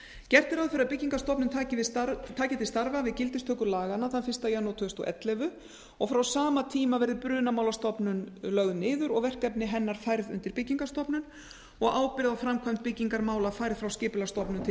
gert er ráð fyrir að byggingarstofnun taki til starfa við gildistöku laganna þann fyrsta janúar tvö þúsund og ellefu og frá sama tíma verði brunamálastofnun lögð niður og verkefni hennar færð undir byggingarstofnun og ábyrgð á framkvæmd byggingarmála færð frá skipulagsstofnun til